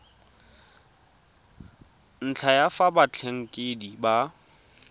ntlha ya fa batlhankedi ba